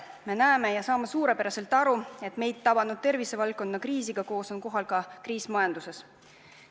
Me näeme ja saame suurepäraselt aru, et meid tabanud tervisevaldkonna kriisiga koos on kohal ka kriis majanduses.